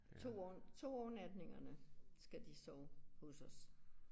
2 overnatningerne skal de sove hos os